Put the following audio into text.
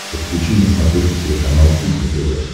подключи на смотрешке телеканал кухня тв